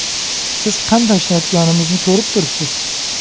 Siz qanday ishlayotganimizni ko‘rib turibsiz.